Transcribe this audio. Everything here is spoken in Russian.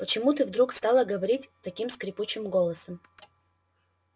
почему ты вдруг стала говорить таким скрипучим голосом